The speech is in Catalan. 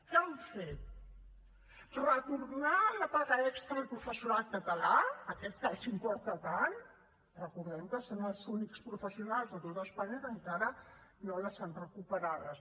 què han fet retornar la paga extra al professorat català aquest que els importa tant recordem que són els únics professionals de tot espanya que encara no les han recuperades